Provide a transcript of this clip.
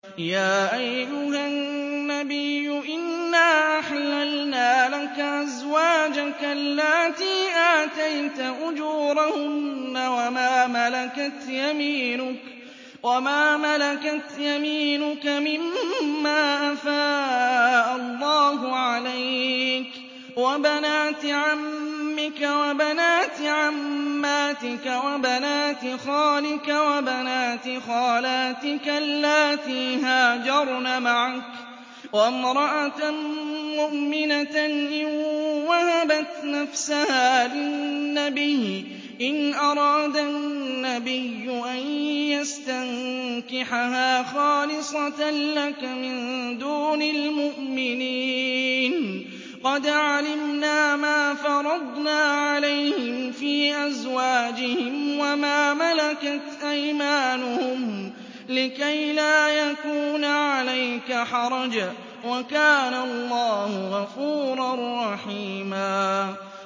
يَا أَيُّهَا النَّبِيُّ إِنَّا أَحْلَلْنَا لَكَ أَزْوَاجَكَ اللَّاتِي آتَيْتَ أُجُورَهُنَّ وَمَا مَلَكَتْ يَمِينُكَ مِمَّا أَفَاءَ اللَّهُ عَلَيْكَ وَبَنَاتِ عَمِّكَ وَبَنَاتِ عَمَّاتِكَ وَبَنَاتِ خَالِكَ وَبَنَاتِ خَالَاتِكَ اللَّاتِي هَاجَرْنَ مَعَكَ وَامْرَأَةً مُّؤْمِنَةً إِن وَهَبَتْ نَفْسَهَا لِلنَّبِيِّ إِنْ أَرَادَ النَّبِيُّ أَن يَسْتَنكِحَهَا خَالِصَةً لَّكَ مِن دُونِ الْمُؤْمِنِينَ ۗ قَدْ عَلِمْنَا مَا فَرَضْنَا عَلَيْهِمْ فِي أَزْوَاجِهِمْ وَمَا مَلَكَتْ أَيْمَانُهُمْ لِكَيْلَا يَكُونَ عَلَيْكَ حَرَجٌ ۗ وَكَانَ اللَّهُ غَفُورًا رَّحِيمًا